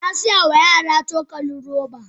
Na saya wa yara cokali robobi.